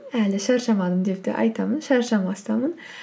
әлі шаршамадым деп те айтамын шаршамастамын